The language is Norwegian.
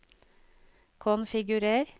konfigurer